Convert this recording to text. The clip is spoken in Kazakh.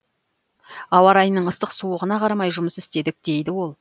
ауа райының ыстық суығына қарамай жұмыс істедік дейді ол